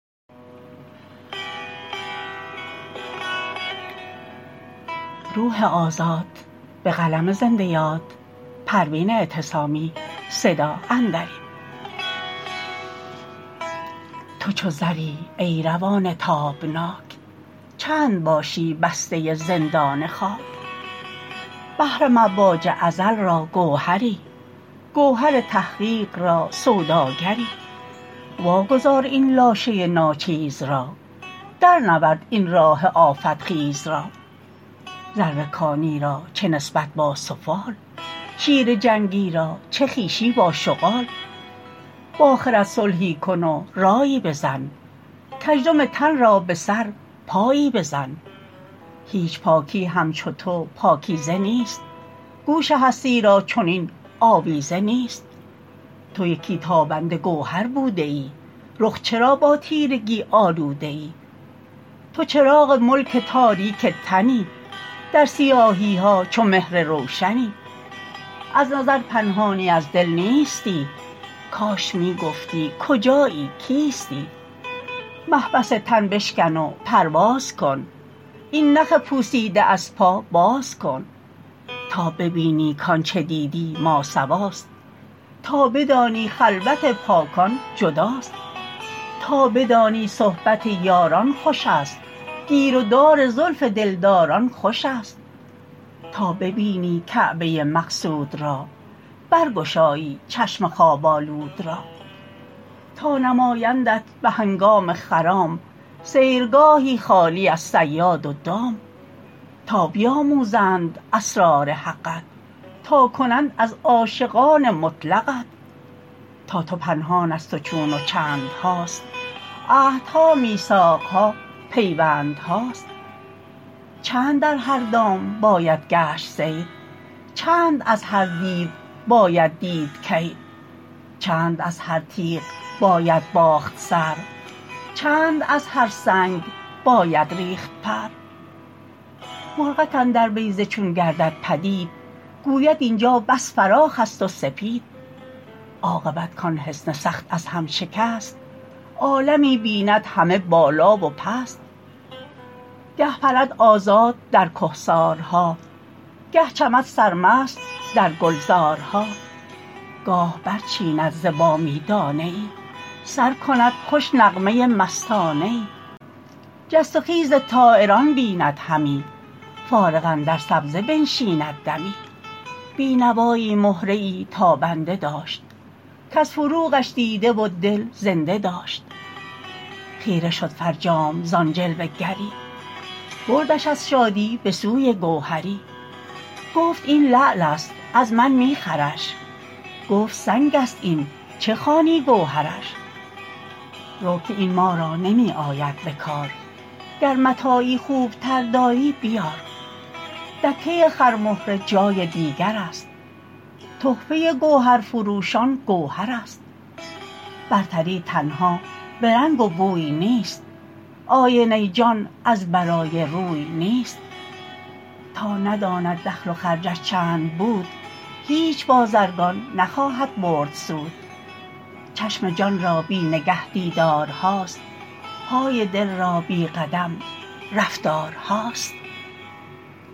تو چو زری ای روان تابناک چند باشی بسته زندان خاک بحر مواج ازل را گوهری گوهر تحقیق را سوداگری واگذار این لاشه ناچیز را در نورد این راه آفت خیز را زر کانی را چه نسبت با سفال شیر جنگی را چه خویشی با شغال باخرد صلحی کن و رایی بزن کژدم تن را بسر پایی بزن هیچ پاکی همچو تو پاکیزه نیست گوش هستی را چنین آویزه نیست تو یکی تابنده گوهر بوده ای رخ چرا با تیرگی آلوده ای تو چراغ ملک تاریک تنی در سیاهی ها چو مهر روشنی از نظر پنهانی از دل نیستی کاش میگفتی کجایی کیستی محبس تن بشکن و پرواز کن این نخ پوسیده از پا باز کن تا ببینی کآنچه دید ماسواست تا بدانی خلوت پاکان جداست تا بدانی صحبت یاران خوشست گیر و دار زلف دلداران خوشست تا ببینی کعبه مقصود را بر گشایی چشم خواب آلود را تا نمایندت بهنگام خرام سیرگاهی خالی از صیاد و دام تا بیاموزند اسرار حقت تا کنند از عاشقان مطلقت تا تو پنهان از تو چون و چندهاست عهدها میثاقها پیوندهاست چند در هر دام باید گشت صید چند از هر دیو باید دید کید چند از هر تیغ باید باخت سر چند از هر سنگ باید ریخت پر مرغک اندر بیضه چون گردد پدید گوید اینجا بس فراخ است و سپید عاقبت کان حصن سخت از هم شکست عالمی بیند همه بالا و پست گه پرد آزاد در کهسارها گه چمد سر مست در گلزارها گاه بر چیند ز بامی دانه ای سر کند خوش نغمه مستانه ای جست و خیز طایران بیند همی فارغ اندر سبزه بنشیند دمی بینوایی مهره ای تابنده داشت کاز فروغش دیده و دل زنده داشت خیره شد فرجام زان جلوه گری بردش از شادی بسوی گوهری گفت این لعلست از من میخرش گفت سنگست این چه خوانی گوهرش رو که این ما را نمی آید بکار گر متاعی خوبتر داری بیار دکه خر مهره جای دیگر است تحفه گوهر فروشان گوهر است برتری تنها برنگ و بوی نیست آینه جان از برای روی نیست تا نداند دخل و خرجش چند بود هیچ بازرگان نخواهد برد سود چشم جانرا بی نگه دیدارهاست پای دل را بی قدم رفتارهاست